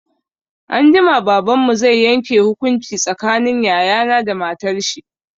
Anjima, Baban mu zai yanke hukunci tsakanin yaya na da matar shi.